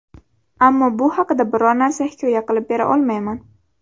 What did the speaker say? Ammo bu haqida biror narsa hikoya qilib bera olmayman.